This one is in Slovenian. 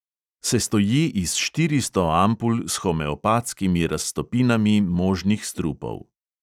Sestoji iz štiristo ampul s homeopatskimi raztopinami možnih strupov.